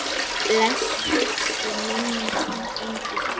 Blessuð sé minning þín engill.